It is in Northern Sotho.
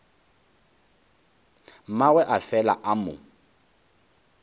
mmagwe a fela a mo